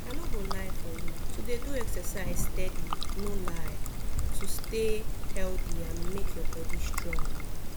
i no go lie for you to dey do exercise steady no lie to stay healthy and make your body strong